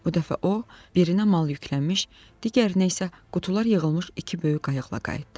Bu dəfə o, birinə mal yüklənmiş, digərinə isə qutular yığılmış iki böyük qayıqla qayıtdı.